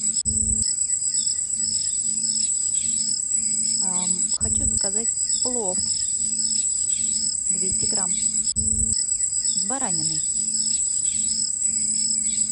хочу заказать плов двести грамм с бараниной